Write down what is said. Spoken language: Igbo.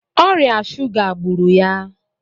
Ọrịa shuga gburu ya